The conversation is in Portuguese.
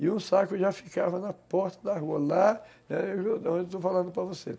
E um saco já ficava na porta da rua, lá, onde eu estou falando para você.